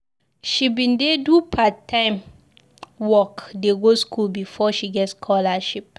She bin dey do part-time work dey go skool befor she get scholarship.